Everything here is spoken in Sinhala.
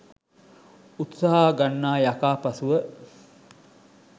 උත්සාහ ගන්නා යකා පසුව